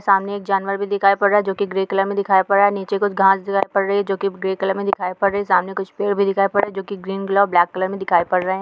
सामने एक जानवर भी दिखाई पड़ रहा है जो कि ग्रे कलर में दिखाई पड़ रहा है नीचे कुछ घास दिखाई पड़ रही है जो कि ग्रे कलर में दिखाई पड़ रही है सामने कुछ पेड़ भी दिखाई पड़ रहे हैं जो कि ग्रीन कलर और ब्लैक कलर में दिखाई पड़ रहे हैं।